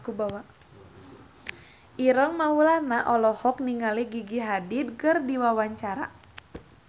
Ireng Maulana olohok ningali Gigi Hadid keur diwawancara